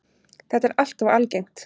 Þetta er alltof algengt.